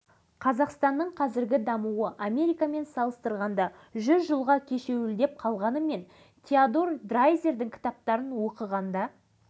алғаш кездескенде ол маған ауыл шаруашылығы саласындағы қазіргі жетістіктері жайында яғни кәсіпкерліктің қыр-сыры жайында әңгімеледі